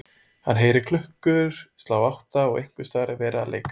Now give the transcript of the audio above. Hann heyrir klukkur slá átta og einhversstaðar er verið að leika